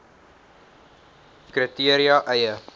kri teria eie